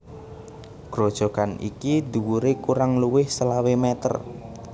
Grojogan iki dhuwuré kurang luwih selawe meter